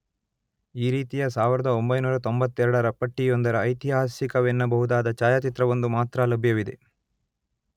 ಈ ರೀತಿಯ ಸಾವಿರದೊಂಬೈನೂರ ತೊಂಬತ್ತೆರಡರ ಪಟ್ಟಿಯೊಂದರ ಐತಿಹಾಸಿಕವೆನ್ನಬಹುದಾದ ಛಾಯಾಚಿತ್ರವೊಂದು ಮಾತ್ರ ಲಭ್ಯವಿದೆ.